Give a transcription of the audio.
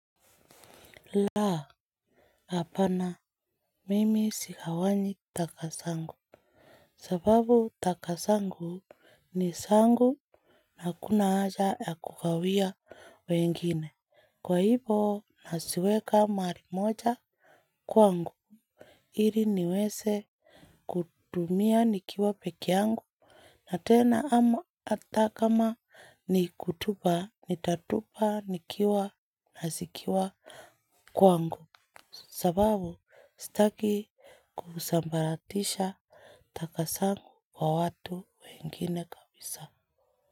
La hapana mimi sigawanyi taka zangu sababu taka zangu ni zangu na hakuna haja ya kugawia wengine. Kwa hivo, naziweka mahali moja kwangu. Ili niweze kutumia nikiwa peke yangu. Na tena ama hata kama ni kutupa, nitatupa nikiwa na zikiwa kwangu. Kusambaratisha taka zangu kwa watu wengine kabisa.